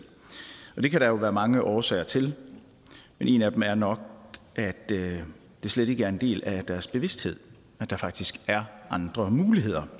og det kan der jo være mange årsager til men en af dem er nok at det slet ikke er en del af deres bevidsthed at der faktisk er andre muligheder